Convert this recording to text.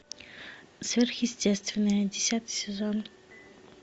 сверхъестественное десятый сезон